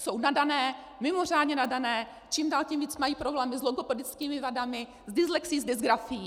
Jsou nadané, mimořádně nadané, čím dál tím víc mají problémy s logopedickými vadami, s dyslexií, s dysgrafií.